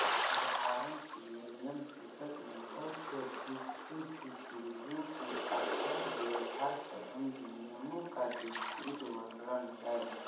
उदाहरण के लिए विनयपिटक में बौद्ध भिक्षुभिक्षुणियों के आचारव्यवहार सम्बन्धी नियमों का विस्तृत वर्णन है